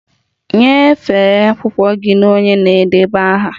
Nyefee akwụkwọ gị na onye na-edeba aha!